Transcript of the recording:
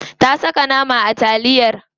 Ta saka nama a taliyar.